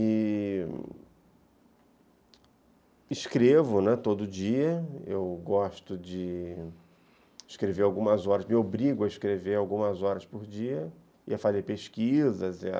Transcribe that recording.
E... escrevo, né, todo dia, eu gosto de escrever algumas horas, me obrigo a escrever algumas horas por dia, e a fazer pesquisas, e a...